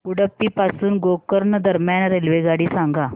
उडुपी पासून गोकर्ण दरम्यान रेल्वेगाडी सांगा